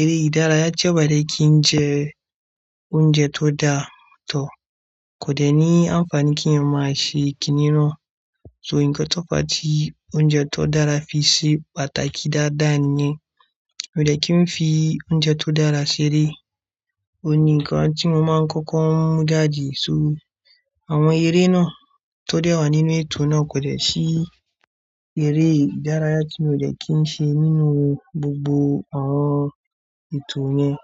eré ìdárayá, tí a bá jẹ́ kí ń jẹ oúnjẹ tó dáa tọ, kò dẹ́ ní àǹfààní kí ẹ máa ṣe kìnnìún. So nǹkan tó bá ti oúnjẹ tó dára fi ṣe pàtàkì dáadáa ni. Ó dẹ́ kí ń fi oúnjẹ tó dára ṣeré. Ó ni nǹkan tí mo máa ń kọ́kọ́ mú dáàdí, so àwọn eré náà tó dẹ́wà nínú ètò náà kò dẹ̀ sí eré ìdárayá tí mo dẹ̀ kí ń ṣe nínú gbogbo àwọn ètò yẹn.